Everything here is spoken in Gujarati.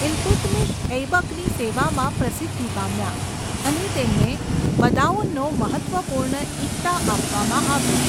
ઇલતુત્મિશ ઐબકની સેવામાં પ્રસિદ્ધિ પામ્યા, અને તેમને બદાઉનનો મહત્ત્વપૂર્ણ ઇક્તા આપવામાં આવ્યો.